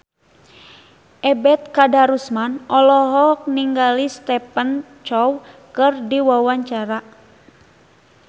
Ebet Kadarusman olohok ningali Stephen Chow keur diwawancara